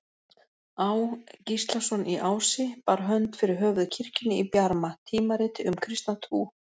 Á. Gíslason í Ási, bar hönd fyrir höfuð kirkjunni í Bjarma, tímariti um kristna trú.